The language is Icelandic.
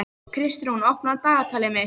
Kristrún, opnaðu dagatalið mitt.